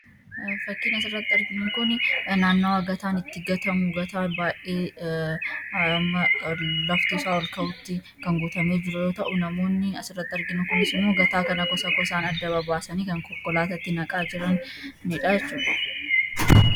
Fakkiin asirratti arginu kun naannaawwan gataan itti gatamu gataa baay'ee laftisaa ol ka'utti kan guutamee jiru ta'uu namoonni asirratti arginu kunis immoo gataa kana gosa gosaan adda babaasanii kan konkolaatatti naqaa jiranidhaa jechuudha.